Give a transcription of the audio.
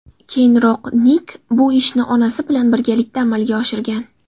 Keyinroq Nik bu ishni onasi bilan birgalikda amalga oshirgan.